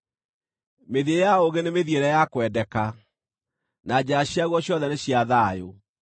Mĩthiĩre ya ũũgĩ nĩ mĩthiĩre ya kwendeka, na njĩra ciaguo ciothe nĩ cia thayũ.